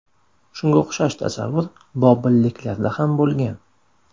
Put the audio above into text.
Shunga o‘xshash tasavvur bobilliklarda ham bo‘lgan.